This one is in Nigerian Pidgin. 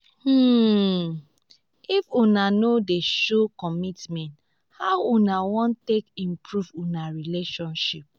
um um if una no dey show commitment how una wan take improve una relationship?